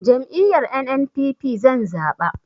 Jam'iyyar NNPP zan zaɓa